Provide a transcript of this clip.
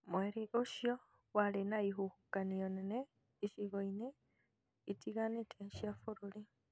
Mweri ũcio warĩ na ihuhũkanio nene icigo-inĩ itiganĩte cia bũrũri